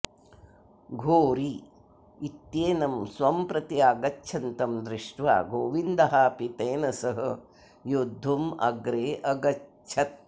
घोरी इत्येनं स्वं प्रति आगच्छन्तं दृष्ट्वा गोविन्दः अपि तेन सह योद्धुम् अग्रे अगच्छत्